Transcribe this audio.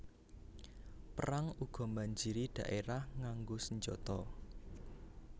Perang uga mbanjiri dhaérah nganggo senjata